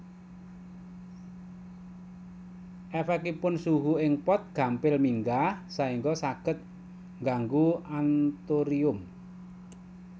Èfèkipun suhu ing pot gampil minggah saéngga saged nganggu anthurium